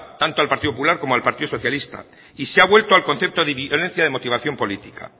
tanto al partido popular como al partido socialista y se ha vuelto al concepto de violencia de motivación política